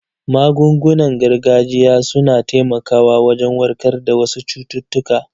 Magungunan gargajiya su na taimakawa wajen warkar da wasu cututtuka.